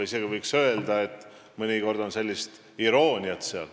Võiks öelda, et mõnikord on selles isegi irooniat.